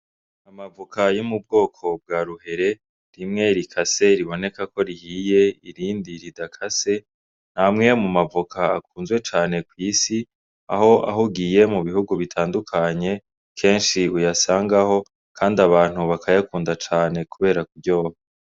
Amavoka yo mu bwoko bwa ruhere rimwe rikase riboneka ko rihiye irindi ridakase , ni amwe mu mavoka akunzwe cane kw’isi Aho ugiye mu bihugu bitandukanye kenshi uyasangaho kandi abantu bakayakunda cane kubera kuryoha.